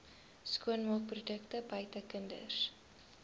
skoonmaakprodukte buite kinders